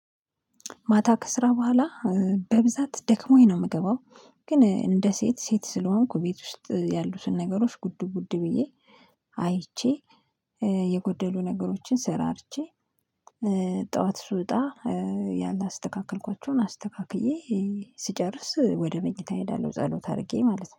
ማታ ከስራ በኋላ በብዛት ደክሞኝ ነው። የምገባው ግን እንደ ሴት ሴት ስለሆንኩ ቤት ውስጥ ያሉትን ነገሮች ጉዱ ጉዱ ብዬ አይቼ የጎደሉ ነገሮችን ስራርቸ። ጠዋት ስውጣ ያላስተካክልኳቸውን አስተካክዬ ስጨርስ ወደ መኝታ እሄዳለሁ። ጸሎት አድርጌ ማለት ነው